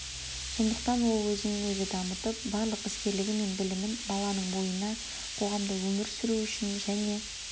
сондықтан ол өзін өзі дамытып барлық іскерлігі мен білімін баланың бойына қоғамда өмір сүру үшін және